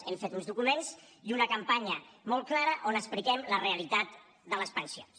hem fet uns documents i una campanya molt clara on expliquem la realitat de les pensions